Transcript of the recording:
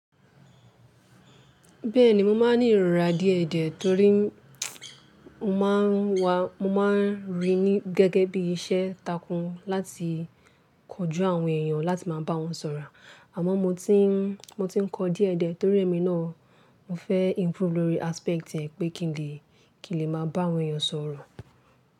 Bẹ́ẹ̀ni mo máa ń ní ìrorá díẹ̀ ẹdẹ torí mo máa ń wa, mo máa ń rí i ní gẹ́gẹ́ bí iṣẹ́ takún láti kojú àwọn èèyàn láti máa bá wọn sọ̀rọ̀. Àmọ́ mo ti ń, mo ti ń kọ díẹ̀ ẹdẹ torí ẹmi náà mo fẹ́ improve lórí aspect yẹn pé kí n lè, kí n lè máa bá àwọn èèyàn sọ̀rọ̀